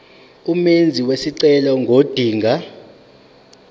umenzi wesicelo ngodinga